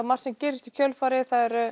margt sem gerist í kjölfarið